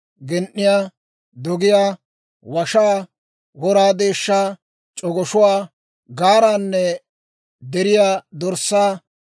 gen"iyaa, dogiyaa, washaa, wora deeshshaa, c'ogoshuwaa, gaaraanne deriyaa dorssaa.